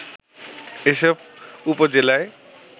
এসব উপজেলায়